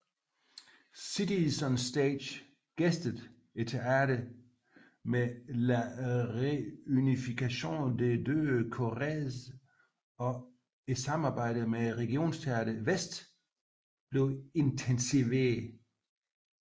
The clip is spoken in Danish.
Cities on Stage gæstede teatret med La Réunification des deux Corées og samarbejdet med Regionteater Väst intensiveredes